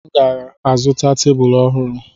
M ga-azụta tebụl ọhụrụ.